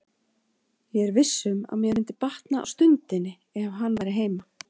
Ég er viss um að mér myndi batna á stundinni ef hann væri heima.